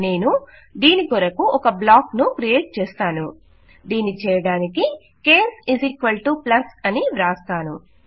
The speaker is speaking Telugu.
నేను దీనికొరకు ఒక బ్లాక్ ను క్రియేట్ చేస్తాను దీన్ని చేయడానికి కేస్ ప్లస్ అని వ్రాస్తాను